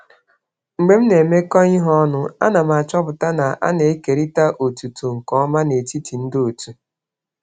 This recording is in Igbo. Mgbe m na-arụkọ ọrụ, ana m ahụ na e kewara otuto n'ụzọ ziri ezi n'etiti ndị otu.